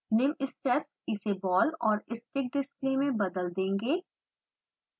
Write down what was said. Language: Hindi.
निम्न स्टेप्स इसे बॉल और स्टिक्स डिस्प्ले में बदल देंगे